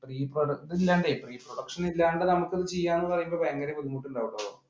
pre-production നമുക്ക് ഇത് ചെയ്യാം എന്ന് പറയുമ്പോൾ ഭയങ്കര ബുദ്ധിമിട്ടുണ്ടാവും അപ്പൊ